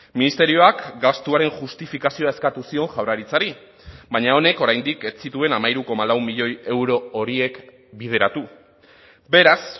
ministerioak gastuaren justifikazioa eskatu zion jaurlaritzari baina honek oraindik ez zituen hamairu koma lau milioi euro horiek bideratu beraz